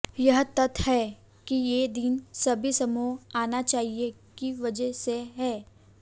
यह तथ्य यह है कि दिन सभी समूहों आना चाहिए की वजह से है